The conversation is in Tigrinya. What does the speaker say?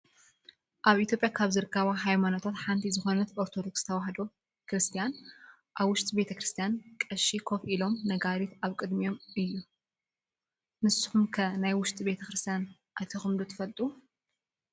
ኣብ ኢትዮጵያ ካብ ዝርከባ ሃይማኖታት ሓንቲ ዝኮነት ኦርቶዶክስ ተዋህዶ ክርስትያን አብ ውሽጢ ቤተ-ክርስትያን ቐሺ ኮፍ ኢሎምን ነጋሪት ኣብ ቅድሚኦምን እዩ። ንስኩም ከ ናብ ውሽጢ ቤተክርስትያን ኣቲኩም ትፈልጡ ዶ?